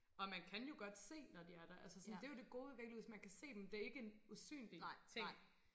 Og man kan jo godt se når de er der altså sådan det jo det gode ved væggelus man kan se dem det ikke en usynlig ting